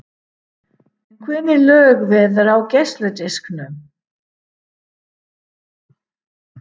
En hvernig lög verða á geisladisknum?